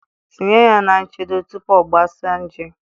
Tinye ya na nchedo tupu ọ gbasaa nje